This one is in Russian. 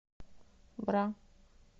бра